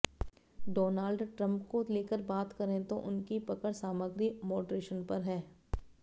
Donald Trump को लेकर बात करें तो उनकी पकड़ सामग्री मॉडरेशन पर है